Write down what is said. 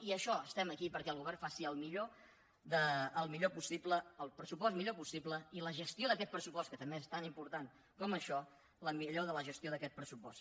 i això estem aquí perquè el govern faci el millor possible el pressupost millor possible i la gestió d’aquest pressupost que també és tan important com això la millor de la gestió d’aquest pressupost